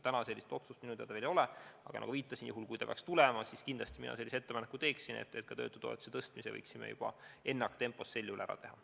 Praegu sellist otsust minu teada veel ei ole, aga kui see peaks tulema, siis kindlasti mina sellise ettepaneku esitaksin, et me töötutoetuse tõstmise ennaktempos ära teeks.